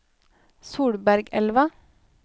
Solbergelva